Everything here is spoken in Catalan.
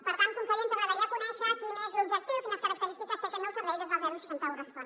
per tant conseller ens agradaria conèixer quin és l’objectiu quines característiques té aquest nou servei des del seixanta un respon